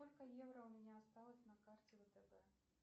сколько евро у меня осталось на карте втб